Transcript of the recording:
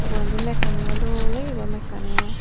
ugurendi mekkani o dol oyi bu mekkani o.